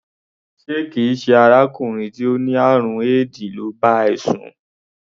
Ṣé kì í ṣe arákùnrin tó ní àrùn éèdì ló bá ẹ sùn?